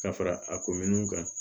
Ka fara a kominiw kan